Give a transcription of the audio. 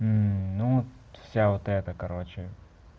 ну вся оплата короче